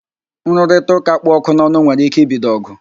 Nrụrịtaụ́ká kpụ ọkụ n'ọnụ nwere ike ibido ọ̀gụ̀